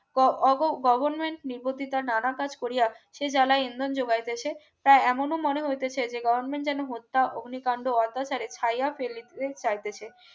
ক অগো গগণ প্রতিটা নানা কাজ করিয়া সে জ্বালায় ইন্ধন জোগাইতেছে তাই এমনো মনে হইতেছে যে Government যেন হত্যা অগ্নিকাণ্ড অত্যাচারে ছায়া ফেলিতে চাইতেছে